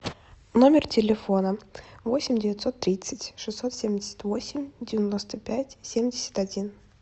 номер телефона восемь девятьсот тридцать шестьсот семьдесят восемь девяносто пять семьдесят один